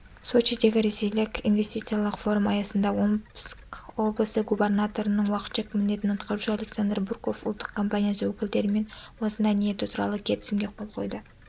сочидегі ресейлік инвестициялық форум аясында омск облысы губарнаторының уақытша міндетін атқарушы александр бурков ұлттық компаниясы өкілдерімен осындай ниеті туралы келісімге қол қойды